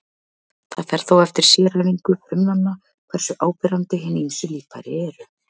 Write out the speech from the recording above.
Það fer þó eftir sérhæfingu frumnanna hversu áberandi hin ýmsu líffæri eru.